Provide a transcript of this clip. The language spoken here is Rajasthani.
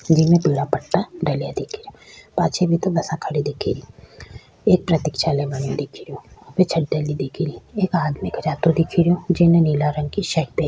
जिमे भूरा पट्टा डलया दिखे रिया पाछे भी तो बसा खड़ी दिखे री एक प्रतिक्षालय बनियो दिखे रियो छत डली दिखे री एक आदमी जातो दिखे रो जीने नीला रंग की शर्ट पहरी --